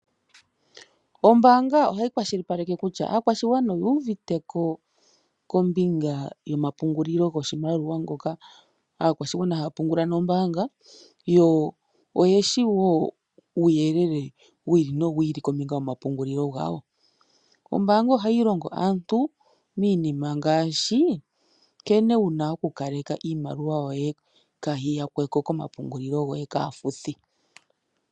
Oombaanga ohayi kwashilipaleke kutya aakwashigwana oyu uvite ko kombinga yomapungulilo goshomaliwa ngoka aakwashigwana haya pungula nombaanga, yo oyeshi woo uuyelele wi ili no wi ili kombinga yomapungulilo gawo . Ombaanga ohayi longo aantu iinima ngaashi nkene wuna oku kaleka iimaliwa yoye kaayi yakweko komapungulilo goye kaafuthi.